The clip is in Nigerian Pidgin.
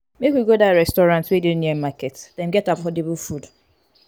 make we go dat restaurant wey dey near market dem get affordable food.